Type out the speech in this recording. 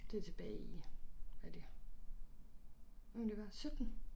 Det tilbage i er det hvad må det være 17